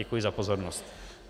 Děkuji za pozornost.